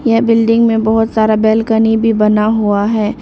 यह बिल्डिंग में बहुत सारा बालकनी भी बना हुआ है।